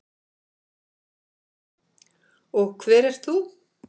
Og hver ert þú?